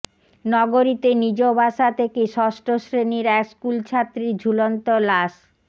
নগরীতে নিজ বাসা থেকে ষষ্ঠ শ্রেণির এক স্কুলছাত্রীর ঝুলন্ত লাশ